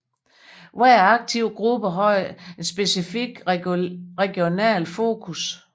Hver aktive gruppe har et specifikt regionalt fokus